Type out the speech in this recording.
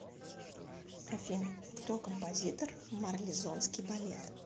афина кто композитор марлезонский балет